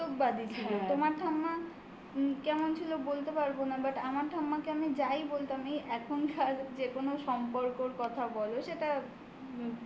তারা প্রচন্ড বাস্তববাদী ছিলেন হ্যাঁ তোমার ঠাম্মা উম কেমন ছিল বলতে পারব না. but আমার ঠাম্মাকে আমি যাই বলতাম এই এখনকার যেকোনো সম্পর্কর কথা বলো. সেটা